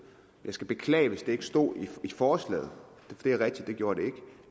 jeg skal beklage hvis det ikke stod i forslagene det er rigtigt det gjorde det ikke